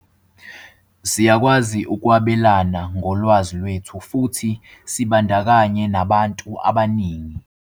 "Siyakwazi ukwabe lana ngolwazi lwethu futhi sibandakanye nabantu abaningi."